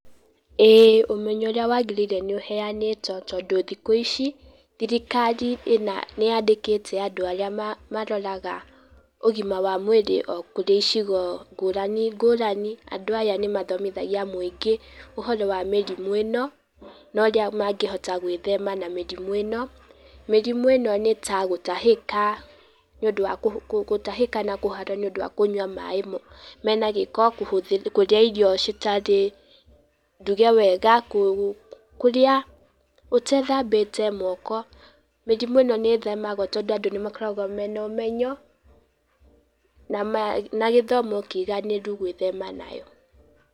Ĩĩ ũmenyo ũrĩa wagĩrĩire nĩ ũhenĩtwo tondũ thikũ ici thirikarĩ ĩna, nĩ yandĩkĩte andũ arĩa maroraga ũgima wa mwĩrĩ o kũrĩ icigo ngũrani, ngũrani. Andũ aya nĩ mathomithagia mũingĩ, ũhoro wa mĩrimũ ĩno, na ũrĩa mangĩhota gwĩthema na mĩrimũ ĩno, mĩrimũ ĩno nĩ ta gũtahĩka, gũtahĩka na kũharwo nĩ ũndũ wa kũnyua maĩ moru, mena gĩko, kũrĩa irio citarĩ nduge wega, kũrĩa ũtethambĩte moko, mĩrimũ ĩno nĩ ĩthemagwo tondũ andũ nĩmakoragwo mena ũmenyo, na gĩthomo kĩiganĩru gwĩthema nayo.